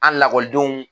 An lakɔlidenw